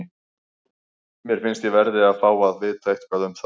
Mér finnst ég verði að fá að vita eitthvað um það.